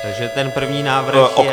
Takže ten první návrh je -